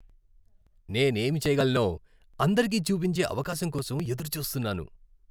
నేనేం చేయగలనో అందరికీ చూపించే అవకాశం కోసం ఎదురుచూస్తున్నాను.